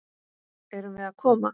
Erum við að koma?